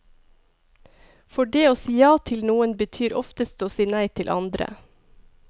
For det å si ja til noen betyr oftest å si nei til andre.